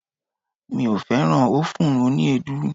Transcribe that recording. Mi ò fẹ́ràn ófùn oní èédú.